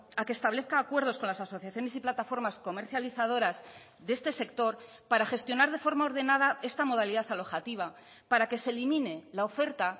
a que establezca acuerdos con las asociaciones y plataformas comercializadoras de este sector para gestionar de forma ordenada esta modalidad alojativa para que se elimine la oferta